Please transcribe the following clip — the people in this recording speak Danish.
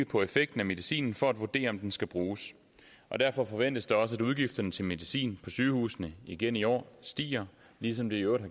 på effekten af medicinen for at vurdere om den skal bruges derfor forventes det også at udgifterne til medicin på sygehusene igen i år stiger ligesom de i øvrigt